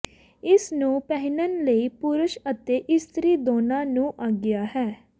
ਇਸ ਨੂੰ ਪਹਿਨਣ ਲਈ ਪੁਰਸ਼ ਅਤੇ ਇਸਤਰੀ ਦੋਨਾਂ ਨੂੰ ਆਗਿਆ ਹੈ